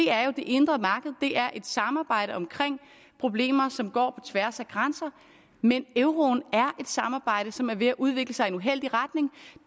er det indre marked det er et samarbejde om problemer som går på tværs af grænser men euroen er et samarbejde som er ved at udvikle sig i en uheldig retning